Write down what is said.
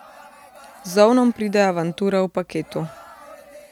Z ovnom pride avantura v paketu.